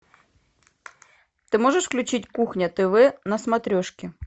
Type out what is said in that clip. ты можешь включить кухня тв на смотрешке